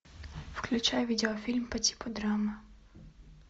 включай видеофильм по типу драма